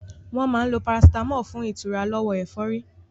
Wọ́n máa ń lo parasitámọ̀ fún ìtura lọ́wọ́ ẹ̀fọ́rí.